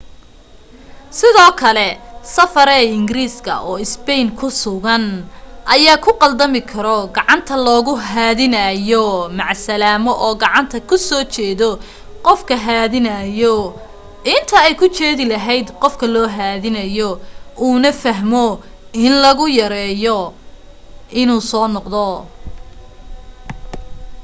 sidoo kale safareey ingiriis oo spain ku sugan ayaa ku qaldami karo gacanta loogu haadinaayo macasalaamo oo gacanta kusoo jeedo qofka haadinaayo inta ay ku jeedi lahayd qofka loo haadinaayo uu na u fahmo in logu yeerayo inuu soo noqdo